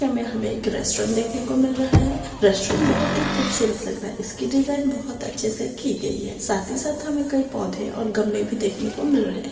में हमे एक रेस्टोरेंट देखने को मिल रहा है रेस्टोरेंट बहोत ही खूबसूरत लग रहा है इस की डिज़ाइन बहोत अच्छे से की गयी है साथ ही साथ हमे कई पौंधे और गमले भी देखने को मिल रहे है।